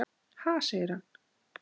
Ha? segir hann.